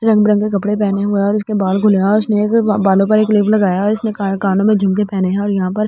रंग बिरंगे के कपड़े पहने हुए हैं और उसके बाल खुले हैं और उसने एक बालों पर एक क्लिप लगाया और उसने कानों में झुमके पहने हैं और यहां पर--